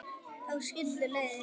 Þá skildu leiðir.